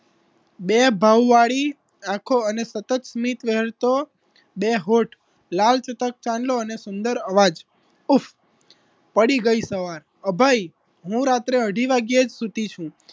બે ભાવ વાળી આંખો અને સતત સ્મિત વહેલ તો બે હોઠ લાલ ચુતક ચાંદલો અને સુંદર અવાજ ઉફ પડી ગઈ સવાર અભય હું રાત્રે અઢી વાગે જ સુતી છું